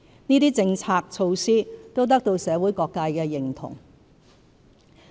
這些政策措施都得到社會各界的認同。